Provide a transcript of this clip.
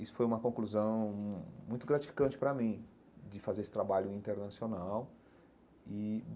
Isso foi uma conclusão muito gratificante para mim, de fazer esse trabalho internacional e.